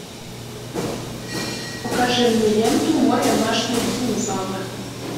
покажи мне ленту мой домашний динозавр